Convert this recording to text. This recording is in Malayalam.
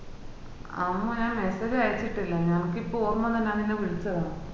ആ ഒന്നും ഞാൻ message അയച്ചിട്ടില്ല എനക്ക് ഇപ്പൊ ഓർമ വന്ന നാൻ ഇന്ന വിളിച്ചതാ